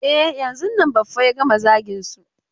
E, yanzun nan Baffa ya gama zagin su.